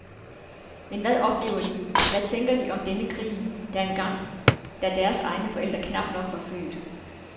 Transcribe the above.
Men hvad oplever de, hvad tænker de om denne krig, der var engang, da deres egne forældre knap nok var født.